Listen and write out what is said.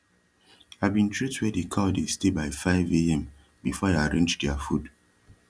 i bin treat wia de cow dey stay by five am befor i arrange dia food